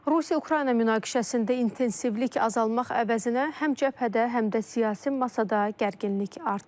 Rusiya-Ukrayna münaqişəsində intensivlik azalmaq əvəzinə həm cəbhədə, həm də siyasi masada gərginlik artır.